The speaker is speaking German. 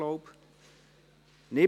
Ja / Oui Nein /